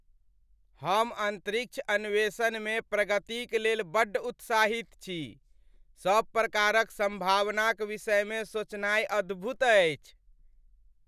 हम अन्तरिक्ष अन्वेषणमे प्रगतिक लेल बड्ड उत्साहित छी! सभ प्रकारक सम्भावनाक विषयमे सोचनाय अद्भुत अछि।